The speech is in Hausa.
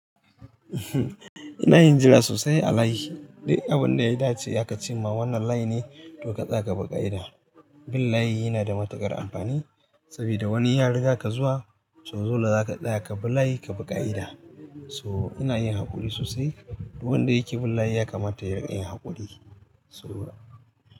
Ina yin jira sosai a layi. Duk abun da ya dace aka ce ma wannan layi ne, to ka tsaga buƙa'ida. Bin layi yana da matuƙar amfani saboda wani ya riga ka zuwa, so dole za ka tsaya ka bi layi ka bi ƙa'ida. So ina yin haƙuri sosai. Duk wanda yake bin layi ya kamata ya riƙa yin haƙuri. So.